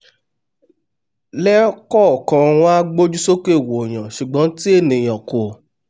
lẹ́ẹ̀kọ̀kan wọ́n á gbójú sókè wòyàn ṣùgbọ́n tí ènìà kò